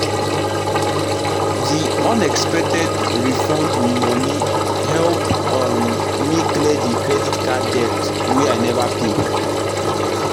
the unexpected tax refund money help um me clear the credit card debt wey i never pay.